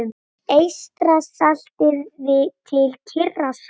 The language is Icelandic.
Eystrasalti til Kyrrahafs.